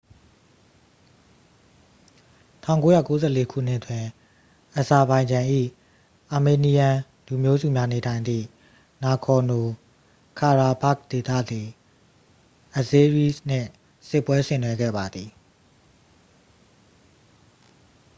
1994 ခုနှစ်တွင် အဇာဘိုင်ဂျန်၏ အာမေးနီးယန်း လူမျိုးစုများနေထိုင်သည့် နာဂေါ်နို ခါရာဘာ့ခ် ဒေသသည် အဇေးရီးစ် နှင့် စစ်ပွဲဆင်နွှဲခဲ့ပါသည်